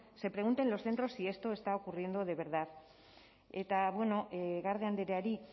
se pregunte en los centros si esto está ocurriendo de verdad eta garde andreari